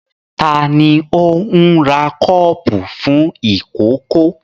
Ta ni ó ń ra kọ́ọ́pù fún ìkókó?